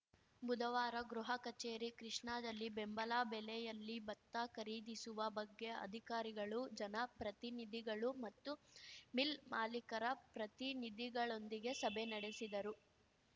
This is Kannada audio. ಬುಧವಾರ ಗೃಹ ಕಚೇರಿ ಕೃಷ್ಣಾದಲ್ಲಿ ಬೆಂಬಲ ಬೆಲೆಯಲ್ಲಿ ಭತ್ತ ಖರೀದಿಸುವ ಬಗ್ಗೆ ಅಧಿಕಾರಿಗಳು ಜನಪ್ರತಿನಿಧಿಗಳು ಮತ್ತು ಮಿಲ್‌ ಮಾಲಿಕರ ಪ್ರತಿನಿಧಿಗಳೊಂದಿಗೆ ಸಭೆ ನಡೆಸಿದರು